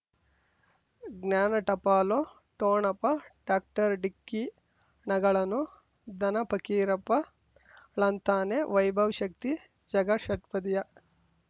ಜ್ಞಾನ ಟಪಾಲು ಠೋಣಪ ಡಾಕ್ಟರ್ ಢಿಕ್ಕಿ ಣಗಳನು ಧನ ಫಕೀರಪ್ಪ ಳಂತಾನೆ ವೈಭವ್ ಶಕ್ತಿ ಝಗಾ ಷಟ್ಪದಿಯ